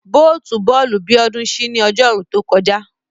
Bóòtù bọ́ọ̀lù Bíọ́dún ṣí ní Ọjọ́rú tó kọjá